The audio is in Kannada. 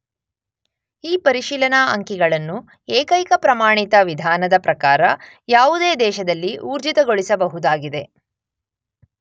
ಈ ಪರಿಶೀಲನಾ ಅಂಕಿಗಳನ್ನು ಏಕೈಕ ಪ್ರಮಾಣಿತ ವಿಧಾನದ ಪ್ರಕಾರ ಯಾವುದೇ ದೇಶದಲ್ಲಿ ಊರ್ಜಿತಗೊಳಿಸಬಹುದಾಗಿದೆ.